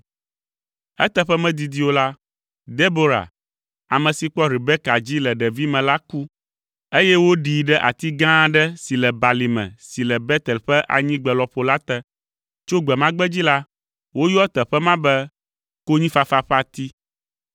Eteƒe medidi o la, Debora, ame si kpɔ Rebeka dzi le ɖevime la ku, eye woɖii ɖe ati gã aɖe si le balime si le Betel ƒe anyigbe lɔƒo la te. Tso gbe ma gbe dzi la, woyɔa teƒe ma be, “Konyifafa ƒe ati.”